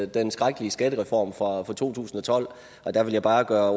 den skrækkelige skattereform fra to tusind og tolv der vil jeg bare gøre